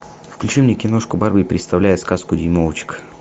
включи мне киношку барби представляет сказку дюймовочка